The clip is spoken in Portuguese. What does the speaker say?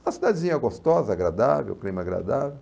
Uma cidadezinha gostosa, agradável, o clima agradável.